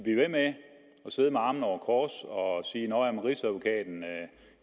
sidde med armene over kors og sige at nå ja rigsadvokaten